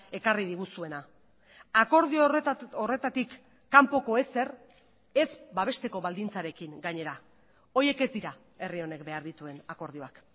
ekarri diguzuena akordio horretatik kanpoko ezer ez babesteko baldintzarekin gainera horiek ez dira herri honek behar dituen akordioak